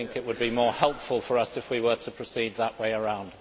I think it would be more helpful for us if we were to proceed that way around.